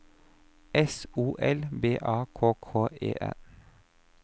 S O L B A K K E N